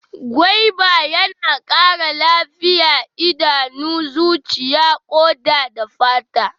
Gwaiba yana ƙara lafiya idanu, zuciya, ƙoda da fata.